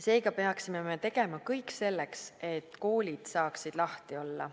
Seega peaksime me tegema kõik selleks, et koolid saaksid lahti olla.